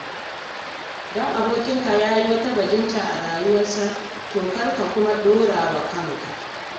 Don abokinka ya yi wata bajinta a rayuwarsa, to kar kai kuma ka ɗorawa kanka.